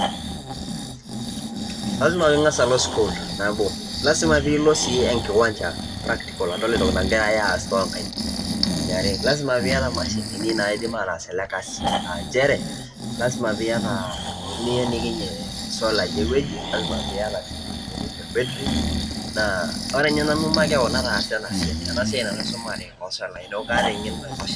lasima pee ing'as aol sukuul nabo, lasima pee ilo sii enkiwancha practical adol entoki nagirae aas too nkaik. eniare, lasima pee iyata imashini naidim ataas ele kasi, aa nchere, lasima peeiyata intokitin niyenikinie isolai ewueji. lasima pee iyata siii ninye ol battery. ore ninye nanu makewon nataasa ena siai. ena siai ninye nanu aisomea oo solai. neeku kaata eng'eno naitosha.